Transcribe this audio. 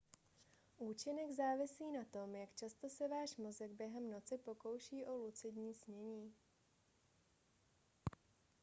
účinek závisí na tom jak často se váš mozek během noci pokouší o lucidní snění